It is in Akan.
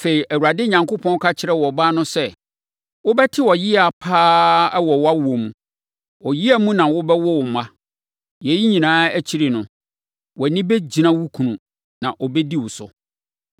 Afei, Awurade Onyankopɔn ka kyerɛɛ ɔbaa no nso sɛ, “Wobɛte ɔyea pa ara wɔ wʼawoɔ mu; ɔyea mu na wobɛwo mma. Yei nyinaa akyiri no, wʼani bɛgyina wo kunu na ɔbɛdi wo so.”